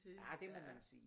Ja det må man sige